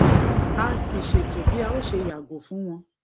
a sì ṣètò bí a ó ṣe yàgò fún wọn